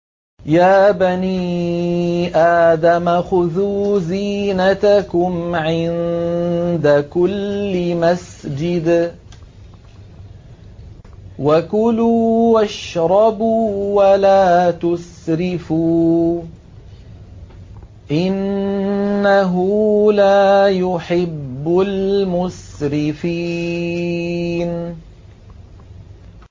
۞ يَا بَنِي آدَمَ خُذُوا زِينَتَكُمْ عِندَ كُلِّ مَسْجِدٍ وَكُلُوا وَاشْرَبُوا وَلَا تُسْرِفُوا ۚ إِنَّهُ لَا يُحِبُّ الْمُسْرِفِينَ